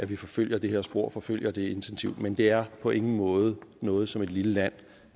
vi forfølger det her spor og forfølger det intensivt men det er på ingen måde noget som et lille land